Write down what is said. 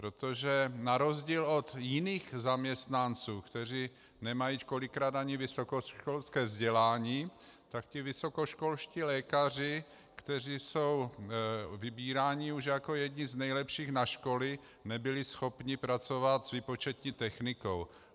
Protože na rozdíl od jiných zaměstnanců, kteří nemají kolikrát ani vysokoškolské vzdělání, tak ti vysokoškolští lékaři, kteří jsou vybíráni už jako jedni z nejlepších na školy, nebyli schopni pracovat s výpočetní technikou.